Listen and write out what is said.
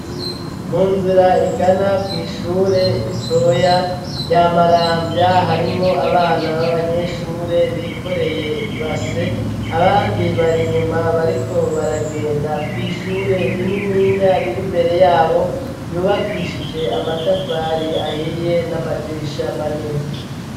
Mu nzira igana kw'ishure ritoya rya Maramvya, harimwo abana b'abanyeshure bikoreye ibase, abandi bari inyuma bariko baragenda kw'ishure rinininya riri mbere yabo yubakishije amatafari ahiye n'amadirisha manini.